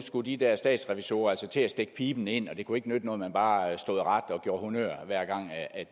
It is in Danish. skulle de der statsrevisorer altså til at stikke piben ind og det kunne ikke nytte noget at man bare stod ret og gjorde honnør hver gang